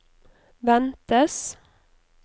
ventes